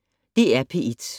DR P1